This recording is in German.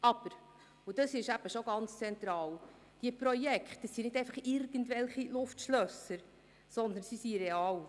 Aber, und das ist eben schon ganz zentral, diese Projekte sind nicht irgendwelche Luftschlösser, sondern sie sind real.